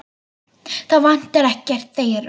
Það vantar ekkert þeirra.